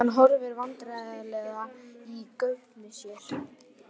Hann horfir vandræðalega í gaupnir sér.